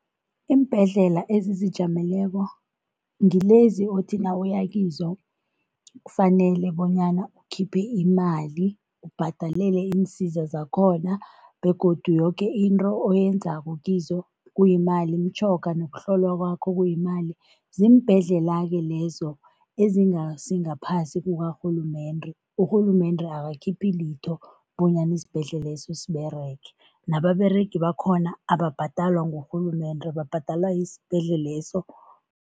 Iimbhedlela ezizijameleko ngilezi othi nawuya kizo kufanele bonyana ukhiphe imali, ubhadalele iinsiza zakhona begodu yoke into oyenzako kizo kuyimali, imitjhoga nokuhlolwa kwakho kuyimali, ziimbhedlela-ke lezo ezingasingaphasi kukarhulumende. Urhulumende akakhiphi litho bonyana isibhedleleso siberege, nababeregi bakhona ababhadalwa ngurhulumende, babhadalwa yisibhedleleso.